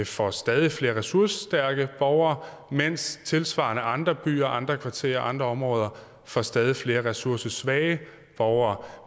får stadig flere ressourcestærke borgere mens tilsvarende andre byer andre kvarterer andre områder får stadig flere ressourcesvage borgere